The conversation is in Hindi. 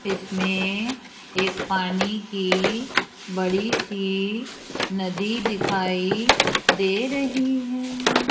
इसमें एक पानी की बड़ी सी नदी दिखाई दे रही है।